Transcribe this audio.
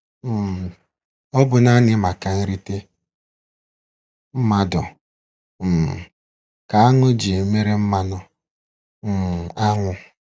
um Ọ bụ naanị maka nrite mmadụ um ka áṅụ ji emere mmanụ um ánwụ.